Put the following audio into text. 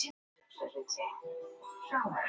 Húsnæði fyrir fátæklingana.